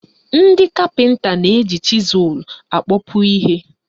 Ndị kapịnta na-eji chịzụl akpọpu ihe.